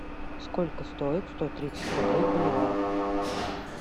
сколько стоит сто тридцать рублей в боливарах